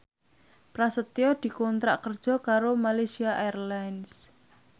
Prasetyo dikontrak kerja karo Malaysia Airlines